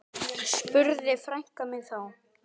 Svava, Eva, Ari og Rúnar.